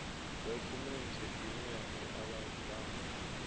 dokhumenthe ine ya ṋea vhabvann